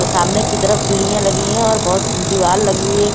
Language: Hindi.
सामने की तरफ सीढ़ियां लगी है और बहोत दीवाल लगी हुई है।